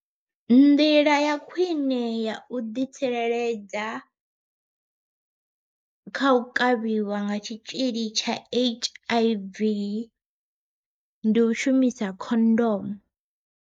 Nḓila ya khwiṋe ya u ḓi tsireledza, kha u kavhiwa nga tshitzhili tsha H_I_V ndi u shumisa khondomu.